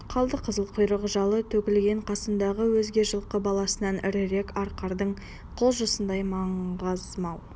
қалдықызыл құйрық-жалы төгілген қасындағы өзге жылқы баласынан ірірек арқардың құлжасындай маңғаз мал